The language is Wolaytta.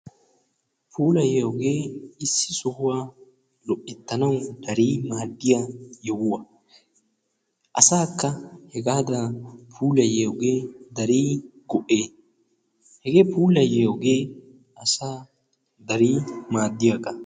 puulayyiyoogee issi sohuwa mal'ettanawu darii maadiya sohuwa. Asaakka hegaadan puulayiyoogee darii go'ees. hegee pulayiyoogee asaa darii maadiyaagaa.